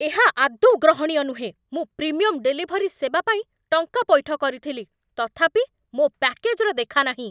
ଏହା ଆଦୌ ଗ୍ରହଣୀୟ ନୁହେଁ! ମୁଁ ପ୍ରିମିୟମ୍ ଡେଲିଭରି ସେବା ପାଇଁ ଟଙ୍କା ପୈଠ କରିଥିଲି, ତଥାପି ମୋ ପ୍ୟାକେଜ୍ର ଦେଖାନାହିଁ!